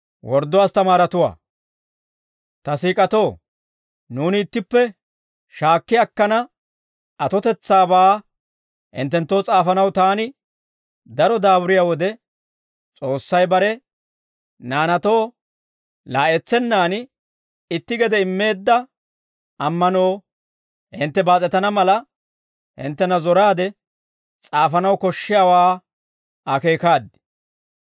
Ta siik'atoo, nuuni ittippe shaakki akkana atotetsaabaa hinttenttoo s'aafanaw taani daro daaburiyaa wode, S'oossay bare naanaatoo laa'etsennaan itti gede immeedda ammanoo hintte baas'etana mala, hinttena zoraade s'aafanaw koshshiyaawaa akeekaad.